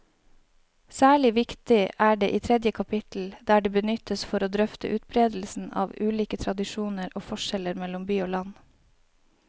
Særlig viktig er det i tredje kapittel, der det benyttes for å drøfte utbredelsen av ulike tradisjoner og forskjeller mellom by og land.